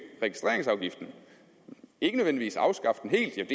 registreringsafgiften ikke nødvendigvis afskaffe den helt